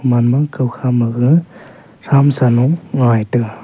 manbang khaokha maga tramsanu ngai taga.